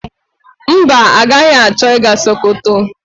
Mba, agaghị achọ ịga Sokoto.